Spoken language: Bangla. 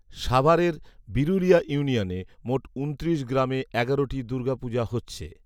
সাভারের বিরুলিয়া ইউনিয়নে মোট ঊনত্রিশ গ্রামে এগারোটি দুর্গাপূজা হচ্ছে